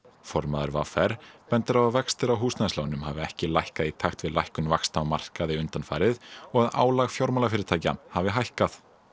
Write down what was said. formaður v r bendir á að vextir á húsnæðislánum hafi ekki lækkað í takt við lækkun vaxta á markaði undanfarið og að álag fjármálafyrirtækja hafi hækkað